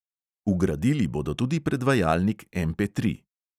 Vgradili bodo tudi predvajalnik MP tri.